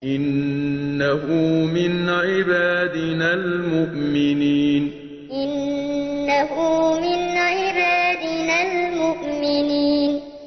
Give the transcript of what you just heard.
إِنَّهُ مِنْ عِبَادِنَا الْمُؤْمِنِينَ إِنَّهُ مِنْ عِبَادِنَا الْمُؤْمِنِينَ